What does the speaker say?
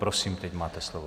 Prosím, teď máte slovo.